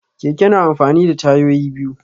Keke na amfani da tayoyi biyu.